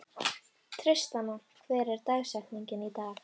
Tristana, hver er dagsetningin í dag?